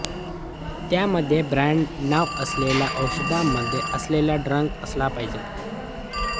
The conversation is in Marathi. त्यामध्ये ब्रॅंड नाव असलेल्या औषधामध्ये असलेला ड्रग असला पाहिजे